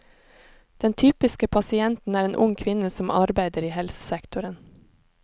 Den typiske pasienten er en ung kvinne som arbeider i helsesektoren.